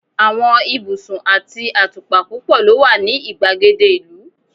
àwọn ibusun ati atupa púpò lo wa ni igbagede ìlú